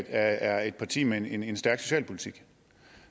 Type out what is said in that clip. er et parti med en en stærk socialpolitik